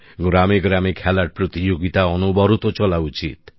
গ্রামে গ্রামে খেলার প্রতিযোগিতা অনবরত চলা উচিত